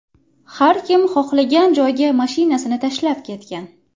Har kim xohlagan joyga mashinasini tashlab ketgan.